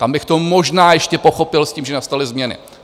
Tam bych to možná ještě pochopil s tím, že nastaly změny.